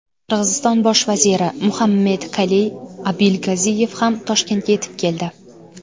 Qirg‘iziston bosh vaziri Muhammedkaliy Abilgaziyev ham Toshkentga yetib keldi.